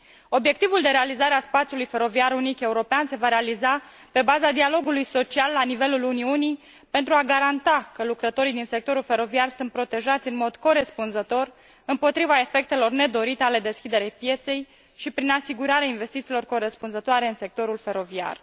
Obiectivul de realizare a spațiului feroviar unic european se va realiza pe baza dialogului social la nivelul Uniunii pentru a garanta că lucrătorii din sectorul feroviar sunt protejați în mod corespunzător împotriva efectelor nedorite ale deschiderii pieței și prin asigurarea investițiilor corespunzătoare în sectorul feroviar.